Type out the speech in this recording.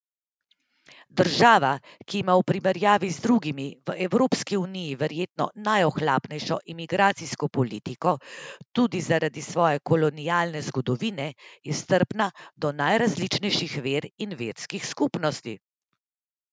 Država, ki ima v primerjavi z drugimi v Evropski uniji verjetno najohlapnejšo imigracijsko politiko, tudi zaradi svoje kolonialne zgodovine, je strpna do najrazličnejših ver in verskih skupnosti.